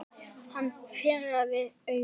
Hann pírði augun.